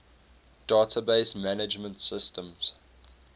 database management systems